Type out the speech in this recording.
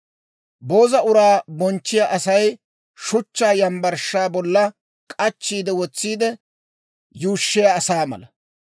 Booza uraa bonchchiyaa Asay shuchchaa yambbarshshaa bolla k'achchi wotsiide yuushshiyaa asaa mala.